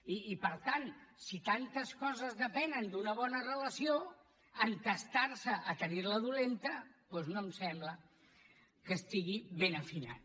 i per tant si tantes coses depenen d’una bona relació entestar se a tenir la dolenta doncs no em sembla que estigui ben afinat